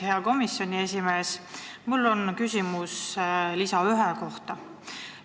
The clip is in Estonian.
Hea komisjoni esimees, mul on küsimus lisa 1 kohta.